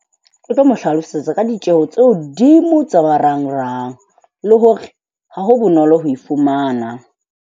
O tlo mo hlalosetsa ka ditjeho tse hodimo tsa marangrang le hore ha ho bonolo ho e fumana.